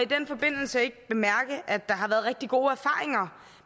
den forbindelse ikke bemærke at der har været rigtig gode erfaringer